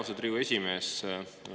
Austatud Riigikogu esimees!